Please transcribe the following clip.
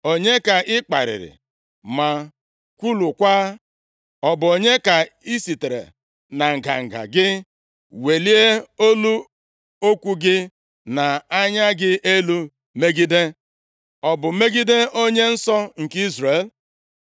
Onye ka ị kparịrị ma kwulukwaa? Ọ bụ onye ka i sitere na nganga gị welie olu okwu gị na anya gị elu megide? Ọ bụ megide Onye Nsọ nke Izrel?